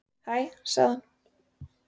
Hæ sagði hann.